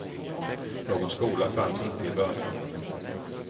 Någon skola fanns inte i början.